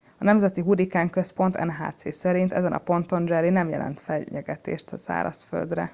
a nemzeti hurrikánközpont nhc szerint ezen a ponton a jerry nem jelent fenyegetést a szárazföldre